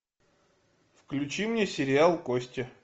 включи мне сериал кости